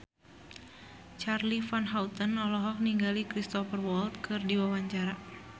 Charly Van Houten olohok ningali Cristhoper Waltz keur diwawancara